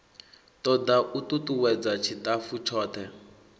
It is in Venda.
toda u tutuwedza tshitafu tshothe